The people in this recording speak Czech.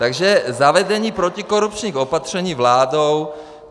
Takže zavedení protikorupčních opatření vládou.